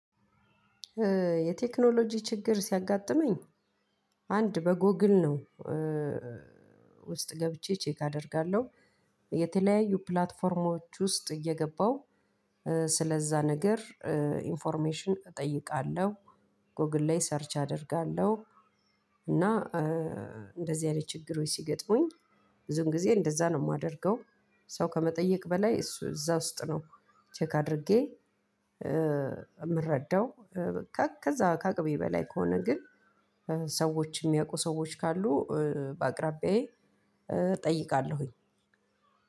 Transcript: የቴክኖሎጂ ችግር ሲያጋጥመኝ አንድ በጎግል ነው ውስጥ ገብቼ ቼክ አደርጋለሁ የተለያዩ ፕላትፎርሞች ውስጥ እየገባሁ ስለዛ ነገር ኢንፎርሜሽን እጠይቃለሁ ጎግል ላይ ሰርች አደርጋለሁ እና እንደዚህ ያለ ችግሮች ሲገጥሙኝ ብዙን ጊዜ እንደዛ ነው የማደርገው። ሰው ከመጠየቅ በላይ እሱ እዛ ውስጥ ነው ቼክ አድርጌ የምረዳው። ከዛ ከ አቅሜ በላይ ከሆነ ግን ሰዎች የሚያውቁ ሰዎች ካሉ በአቅራቢያዬ እጠይቃለሁኝ።